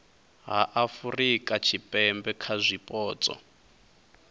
ha afurika tshipembe kha zwipotso